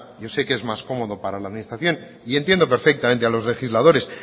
yo sé que es más cómodo para la administración y entiendo perfectamente a los legisladores